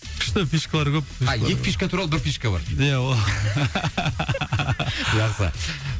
күшті фишкалар көп а екі фишка туралы бір фишка бар ия ол